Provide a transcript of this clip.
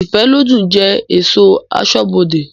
Ifelodun je esọ̀ asọ́bodè